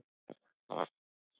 Kemur þoka.